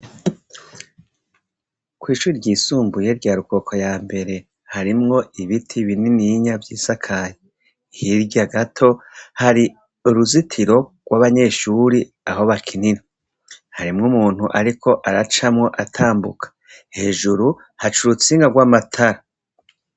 ku ishuri ryisumbuye rya rukoko yambere harimwo ibiti binininya vyisakaye hirya gato hari uruzitiro rw'abanyeshuri aho bakinira harimwo umuntu ariko aracamwo atambuka hejuru hari urutsinga rw'amatara.